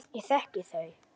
Ég þekki þau.